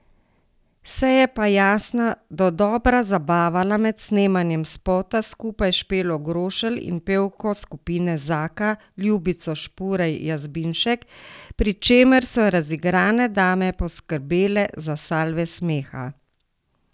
Se je pa Jasna dodobra zabavala med snemanjem spota skupaj s Špelo Grošelj in pevko skupine Zaka, Ljubico Špurej Jazbinšek, pri čemer so razigrane dame poskrbele za salve smeha.